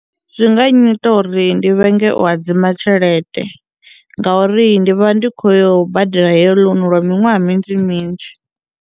Zwi nga nnyita uri ndi vhenge u hadzima tshelede ngauri ndi vha ndi khou yo badela heyo loan lwa miṅwaha minzhi minzhi.